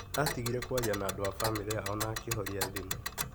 Atigire kwaria na andũ a bamĩrĩ yao na akĩhoria thimũ.